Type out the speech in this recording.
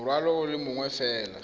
morwalo o le mongwe fela